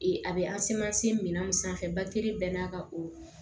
a bɛ minan sanfɛ baki bɛɛ n'a ka o